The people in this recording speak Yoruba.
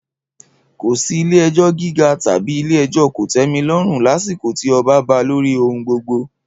Kò sí Ilé-ẹjọ́ Gíga tàbí Ilé-ẹjọ́ Kòtẹ́milọ́rùn lásìkò tí ọba ba lórí ohun gbogbo.